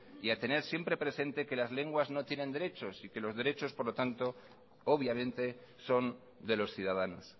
y a tener siempre presente que las lenguas no tienen derechos y que los derechos por lo tanto obviamente son de los ciudadanos